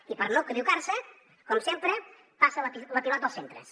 i per no equivocar se com sempre passa la pilota als centres